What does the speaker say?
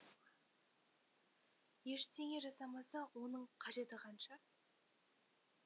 ештеңе жасамаса оның қажеті қанша